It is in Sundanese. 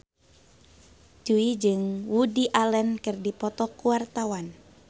Jui jeung Woody Allen keur dipoto ku wartawan